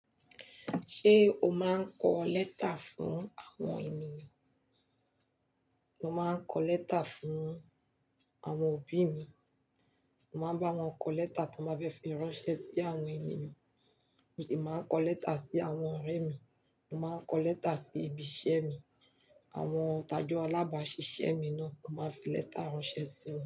Ṣé o máa ń kọ lẹ́tà fún àwọn ènìyàn? Mo máa ń kọ lẹ́tà fún àwọn òbí mi. Mo máa ń bá wọn kọ lẹ́tà tí wọ́n bá fẹ́ fi ránṣẹ́ sí àwọn ènìyàn. Mo sì máa ń kọ lẹ́tà sí àwọn ọ̀rẹ́ mi. Mo máa ń kọ lẹ́tà sí ibi iṣẹ́ mi. Àwọn tàjọ̀ alábàáṣiṣẹ́ mi náà o máa ń fi lẹ́tà ránṣẹ́ sí mi.